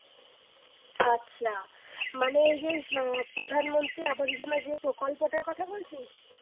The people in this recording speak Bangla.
আচ্ছা মানে এই যে আহ প্রধানমন্ত্রী যে প্রকল্পটার কথা বলছিস?